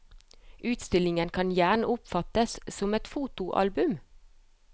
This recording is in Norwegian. Utstillingen kan gjerne oppfattes som et fotoalbum.